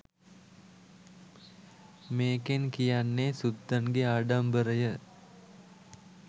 මේකෙන් කියන්නේ සුද්දන්ගේ ආඩමිබරය